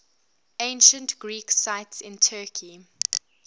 ancient greek sites in turkey